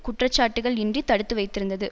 குற்றச்சாட்டுக்கள் இன்றி தடுத்து வைத்திருந்தது